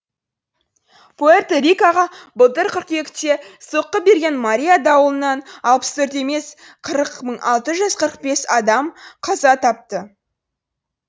пуэрто рикоға былтыр қыркүйекте соққы берген мария дауылынан алпыс төрт емес қырық мың алты жүз қырық бес адам қаза тапты